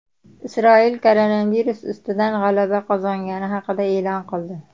Isroil koronavirus ustidan g‘alaba qozongani haqida e’lon qildi.